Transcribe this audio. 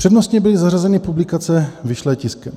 Přednostně byly zařazeny publikace vyšlé tiskem;